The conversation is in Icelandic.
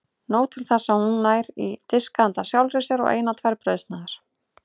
Nóg til þess að hún nær í disk handa sjálfri sér og eina tvær brauðsneiðar.